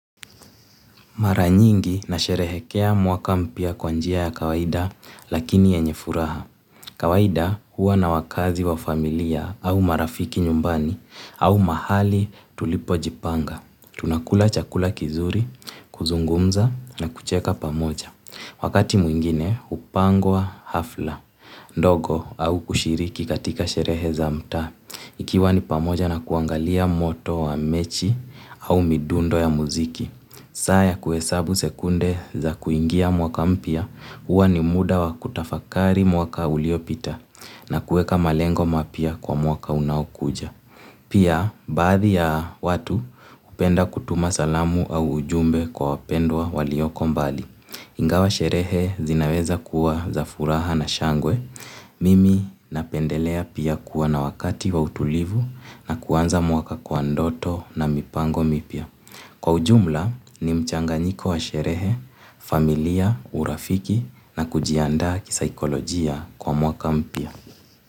Mara nyingi nasherehekea mwaka mpya kwa njia ya kawaida lakini yenye furaha. Kawaida huwa na wakazi wa familia au marafiki nyumbani au mahali tulipojipanga. Tunakula chakula kizuri, kuzungumza na kucheka pamoja. Wakati mwingine hupangwa hafla. Ndogo au kushiriki katika sherehe za mtaa. Ikiwa ni pamoja na kuangalia moto wa mechi au midundo ya muziki. Saa ya kuesabu sekunde za kuingia mwaka mpya, huwa ni muda wa kutafakari mwaka uliopita na kueka malengo mapya kwa mwaka unaokuja. Pia, baadhi ya watu hupenda kutuma salamu au ujumbe kwa wapendwa walioko mbali. Ingawa sherehe zinaweza kuwa za furaha na shangwe. Mimi napendelea pia kuwa na wakati wa utulivu na kuanza mwaka kwa ndoto na mipango mipya. Kwa ujumla ni mchanganyiko wa sherehe, familia, urafiki na kujiandaa kisaikolojia kwa mwaka mpya.